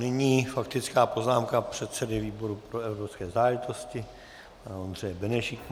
Nyní faktická poznámka předsedy výboru pro evropské záležitosti pana Ondřeje Benešíka.